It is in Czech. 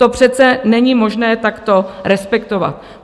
To přece není možné takto respektovat.